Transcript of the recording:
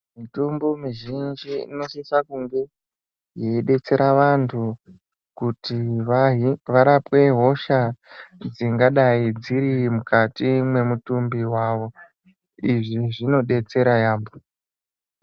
Mitombo mizhinji inosisa kunge yeibetsera vantu kuti varapwe hosha dzingadai dziri mukati mwemutumbi mwavo, izvi zvinobetsera yamho.